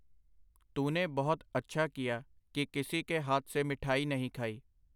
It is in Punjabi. ਤੂਨੇ ਬਹੁਤ ਅੱਛਾ ਕੀਆ, ਕਿ ਕਿਸੀ ਕੇ ਹਾਥ ਸੇ ਮਿਠਾਈ ਨਹੀਂ ਖਾਈ.